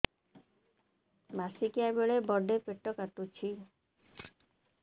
ମାସିକିଆ ବେଳେ ବଡେ ପେଟ କାଟୁଚି